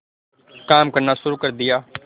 काम करना शुरू कर दिया